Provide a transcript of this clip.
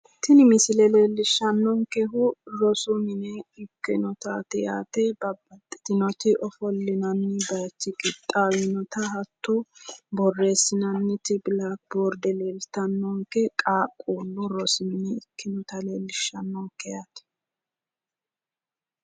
Tini misile leellishshannonkehu rosu mine ikkinotaati yaate. Babbaxxitinoti ofollinanni bayichi qixxawinota hatto borreessinanniti bilaakiboorde leeltannonke. Qaaqquullu rosi mine ikkinota leellishshannonke.